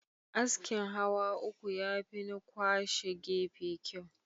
Askin hawa uku yafi na kwashe gefe kyau.